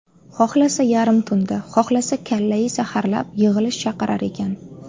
Xohlasa yarim tunda, xohlasa kallai saharlab yig‘ilish chaqirar ekan.